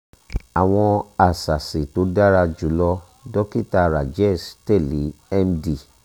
àwọn àṣàsì tó dára jù lọ dókítà rajesh teli md